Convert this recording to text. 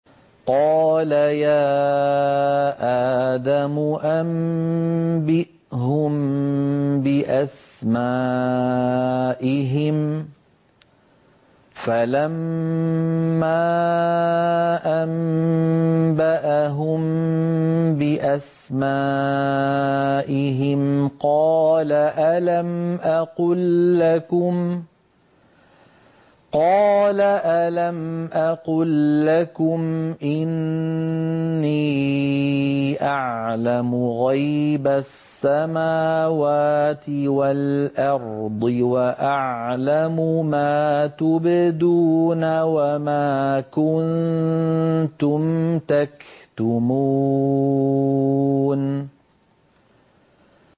قَالَ يَا آدَمُ أَنبِئْهُم بِأَسْمَائِهِمْ ۖ فَلَمَّا أَنبَأَهُم بِأَسْمَائِهِمْ قَالَ أَلَمْ أَقُل لَّكُمْ إِنِّي أَعْلَمُ غَيْبَ السَّمَاوَاتِ وَالْأَرْضِ وَأَعْلَمُ مَا تُبْدُونَ وَمَا كُنتُمْ تَكْتُمُونَ